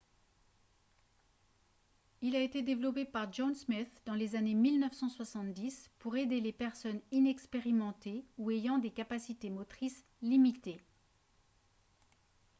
il a été développé par john smith dans les années 1970 pour aider les personnes inexpérimentées ou ayant des capacités motrices limitées